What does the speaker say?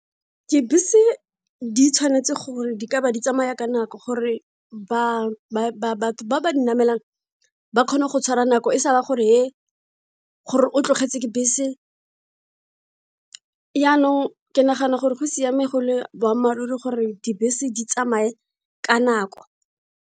Dibese di tshwanetse gore di ka ba di tsamaya ka nako gore batho ba ba dinamelang ba kgone go tshwara nako e sa ba gore gore o tlogetse ke bese yanong ke nagana gore go siame go le boammaaruri gore dibese di tsamaye ka nako.